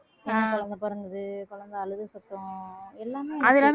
பெண் குழந்தை பிறந்தது குழந்தை அழுகை சத்தம் எல்லாமே